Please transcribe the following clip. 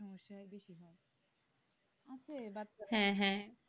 হ্যাঁ হ্যাঁ।